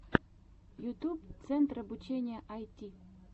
ютьюб центр обучения айти